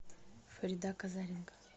фарида козаренко